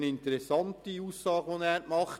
Er hat eine interessante Aussage gemacht.